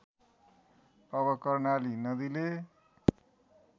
अब कर्णाली नदीले